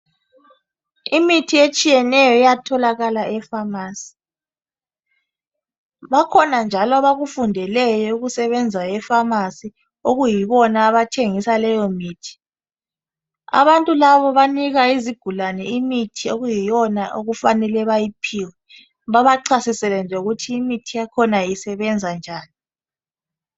Imithi etshiyeneyo iyatholakala epharmacy , bakhona njalo abakufundeleyo ukusebenza epharmacy okuyibona abathengisa leyo mithi , abantu labo banika izigulane imithi okuyiyona okufanele bayiphiwe , babachasisele lokuthi imithi yakhona isebenzanjani